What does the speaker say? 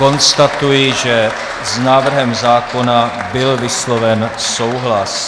Konstatuji, že s návrhem zákona byl vysloven souhlas.